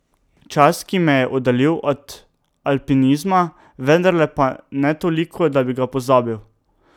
Čas, ki me je oddaljil od alpinizma, vendarle pa ne toliko, da bi ga pozabil.